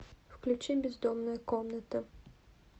включи бездомная комната